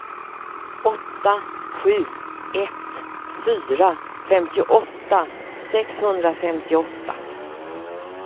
åtta sju ett fyra femtioåtta sexhundrafemtioåtta